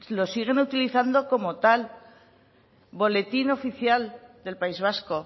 lo siguen utilizando como tal boletín oficial del país vasco